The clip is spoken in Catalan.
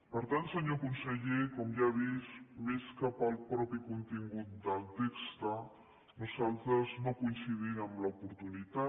per tant senyor conseller com ja ha vist més que pel mateix contingut del text nosaltres no coincidim en l’oportunitat